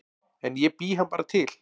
En ég bý hann bara til